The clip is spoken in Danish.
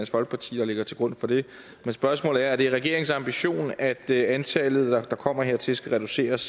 folkeparti der ligger til grund for det men spørgsmålet er er det regeringens ambition at antallet der kommer hertil skal reduceres